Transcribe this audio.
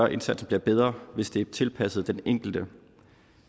at indsatsen bliver bedre hvis det er tilpasset den enkelte